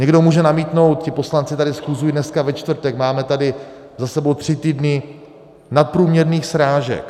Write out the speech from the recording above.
Někdo může namítnout: Ti poslanci tady schůzují dneska, ve čtvrtek, máme tady za sebou tři týdny nadprůměrných srážek.